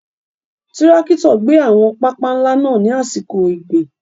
Tirakito gbé àwọn pápá ńlá náà ní àsìkò ìgbìn.